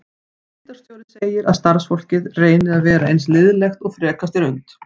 Deildarstjóri segir að starfsfólkið reyni að vera eins liðlegt og frekast er unnt.